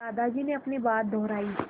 दादाजी ने अपनी बात दोहराई